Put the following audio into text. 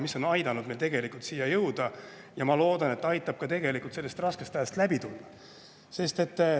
See on aidanud meil tegelikult siia jõuda ja ma loodan, et see aitab sellest raskest ajast läbi tulla.